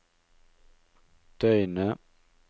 døgnet